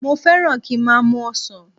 Mo fẹ́ràn kí n má a mu ọsàn